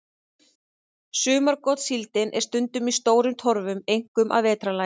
Sumargotssíldin er stundum í stórum torfum, einkum að vetrarlagi.